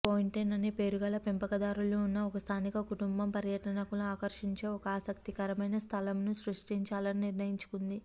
Fontaine అనే పేరుగల పెంపకదారులు ఉన్న ఒక స్థానిక కుటుంబము పర్యాటకులను ఆకర్షించే ఒక ఆసక్తికరమైన స్థలమును సృష్టించాలని నిర్ణయించుకుంది